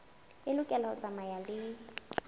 e lokela ho tsamaya le